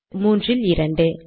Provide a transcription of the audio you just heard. அடுத்து 3 இல் 2